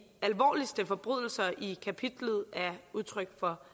alvorligste forbrydelser i kapitlet er udtryk for